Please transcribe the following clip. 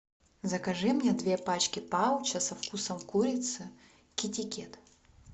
закажи мне две пачки пауча со вкусом курицы китикэт